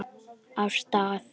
Af stað!